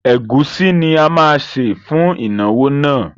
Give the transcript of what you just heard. Ẹ̀gúsí ni a máa sè fún ìnáwó náà.